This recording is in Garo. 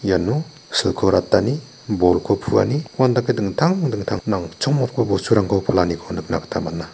iano silko ratani nokko puani uandake dingtang dingtang nangchongmotgipa bosturangko palaniko nikna gita man·a.